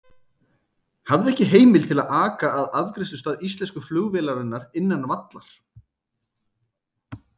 Hafði ekki heimild til að aka að afgreiðslustað íslensku flugvélarinnar innan vallar.